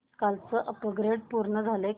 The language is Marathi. कालचं अपग्रेड पूर्ण झालंय का